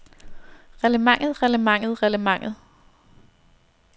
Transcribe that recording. reglementet reglementet reglementet